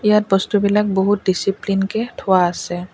ইয়াত বস্তুবিলাক বহুত ডিছিপ্লিন কে থোৱা আছে।